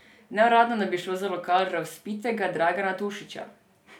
Neuradno naj bi šlo za lokal razvpitega Dragana Tošića.